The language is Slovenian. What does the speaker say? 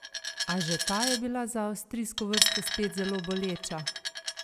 A že ta je bila za avstrijsko vrsto spet zelo boleča!